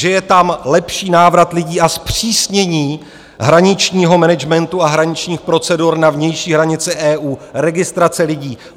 Že je tam lepší návrat lidí a zpřísnění hraničního managementu a hraničních procedur na vnější hranici EU, registrace lidí?